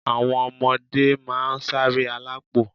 Àwọn ọmọdé máa ń ṣáré alápò